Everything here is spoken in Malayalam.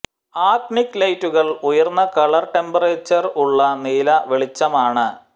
ആക്ടിനിക് ലൈറ്റുകൾ ഉയർന്ന കളർ ടെമ്പറേച്ചർ ഉള്ള നീല വെളിച്ചമാണ്